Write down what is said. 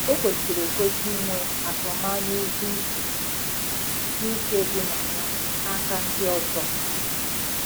O kwesịrị ekwesị inwe atụmanya ezi uche dị uche dị na ya n'aka ndị ọzọ.